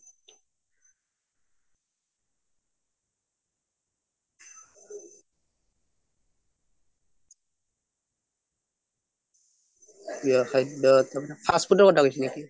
প্ৰিয় খাদ্য fast food ৰ কথা কৈছে নেকি